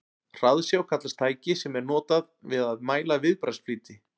hraðsjá kallast tæki sem er notað við að mæla viðbragðsflýti